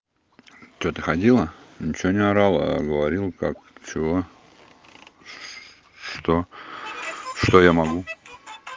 что ты ходила ничего не орала а говорил как чего что что я могу